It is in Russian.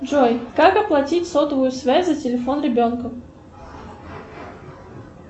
джой как оплатить сотовую связь за телефон ребенка